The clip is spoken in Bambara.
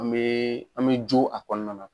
An bɛ an bɛ jo a kɔnɔna na.